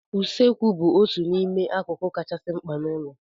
Usekwụ bụ otu n'ime akụkụ kachasị mkpa n'ụlọ.